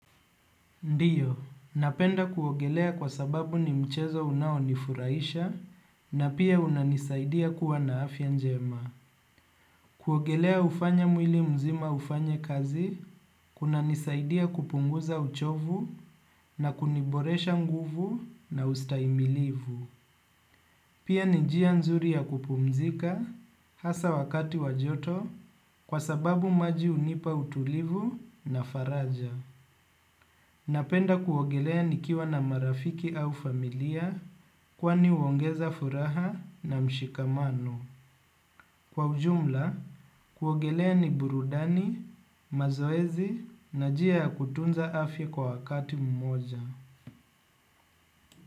Ndiyo, napenda kuogelea kwa sababu ni mchezo unawo nifuraisha na pia unanisaidia kuwa na afya njema. Kuogelea hufanya mwili mzima ufanya kazi, kuna nisaidia kupunguza uchovu na kuniboresha nguvu na ustahimilivu. Pia nijia nzuri ya kupumzika hasa wakati wajoto kwa sababu maji hunipa utulivu na faraja. Napenda kuogelea nikiwa na marafiki au familia kwani huongeza furaha na mshikamano. Kwa ujumla, kuogelea ni burudani, mazoezi na jia kutunza afya kwa wakati mmoja.